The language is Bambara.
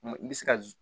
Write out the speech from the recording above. I bɛ se ka